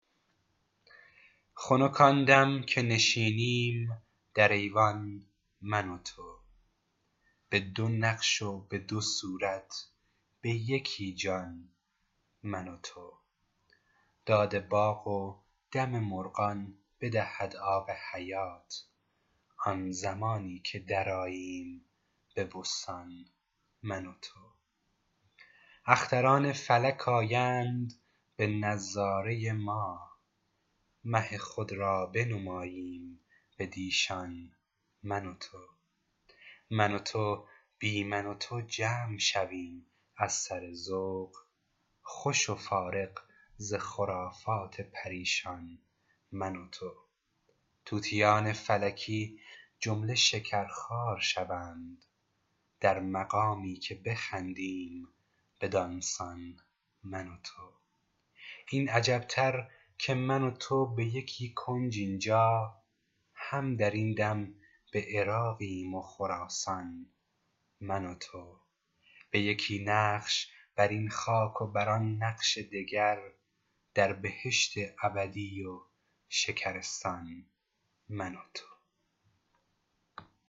خنک آن دم که نشینیم در ایوان من و تو به دو نقش و به دو صورت به یکی جان من و تو داد باغ و دم مرغان بدهد آب حیات آن زمانی که درآییم به بستان من و تو اختران فلک آیند به نظاره ما مه خود را بنماییم بدیشان من و تو من و تو بی من و تو جمع شویم از سر ذوق خوش و فارغ ز خرافات پریشان من و تو طوطیان فلکی جمله شکرخوار شوند در مقامی که بخندیم بدان سان من و تو این عجب تر که من و تو به یکی کنج این جا هم در این دم به عراقیم و خراسان من و تو به یکی نقش بر این خاک و بر آن نقش دگر در بهشت ابدی و شکرستان من و تو